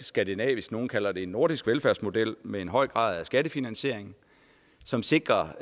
skandinavisk nogle kalder den nordisk velfærdsmodel med en høj grad af skattefinansiering som sikrer